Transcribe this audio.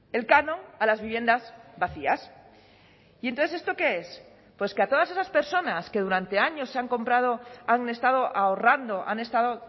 el canon a las viviendas vacías y entonces esto qué es pues que a todas esas personas que durante años se han comprado han estado ahorrando han estado